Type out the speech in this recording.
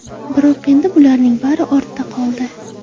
Biroq endi bularning bari ortda qoldi.